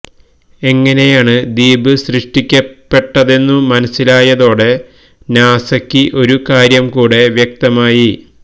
എങ്ങനെയാണ് ദ്വീപ് സൃഷ്ടിക്കപ്പെട്ടതെന്നു മനസ്സിലായതോടെ നാസയ്ക്ക് ഒരു കാര്യം കൂടെ വ്യക്തമായി